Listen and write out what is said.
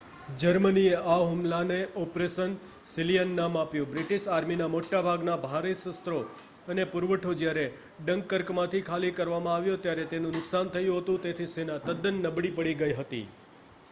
જર્મનીએ આ હુમલાને ઓપરેશન સીલિયન નામ આપ્યું બ્રિટિશ આર્મીના મોટા ભાગના ભારે શસ્ત્રો અને પુરવઠો જ્યારે ડંકર્કમાંથી ખાલી કરવામાં આવ્યો ત્યારે તેનું નુકસાન થયું હતું તેથી સેના તદ્દન નબળી પડી ગઈ હતી